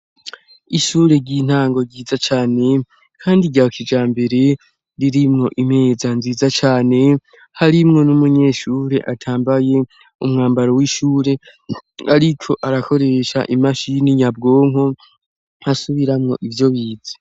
Ishure ry'intango ryiza cane kandi ryakijambere ririmwo imeza nziza cane harimwo n'umunyeshure atambaye umwambaro w'ishure ariko arakoresha imashini nyabwonko asubiramo ivyo bize.